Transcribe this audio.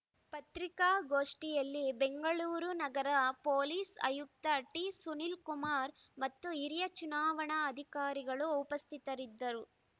ಪತ್ರಿಕಾ ಗೋಷ್ಠಿಯಲ್ಲಿ ಬೆಂಗಳೂರು ನಗರ ಪೊಲೀಸ್ ಆಯುಕ್ತ ಟಿಸುನಿಲ್ ಕುಮಾರ್ ಮತ್ತು ಹಿರಿಯ ಚುನಾವಣಾ ಅಧಿಕಾರಿಗಳು ಉಪಸ್ಥಿತರಿದ್ದರು